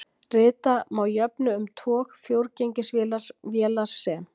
Rita má jöfnu um tog fjórgengisvélar vélar sem